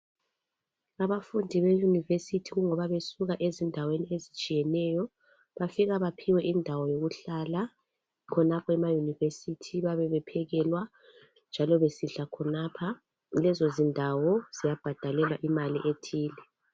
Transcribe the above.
Abafundi be university ingoba besuka ezindaweni ezitshiyeneyo bafika baphiwe indawo zokuhlala khonapho ema university bephekelwa njalo besidla khonapha lezo zindawo ziyabhadalelwa imali ethile.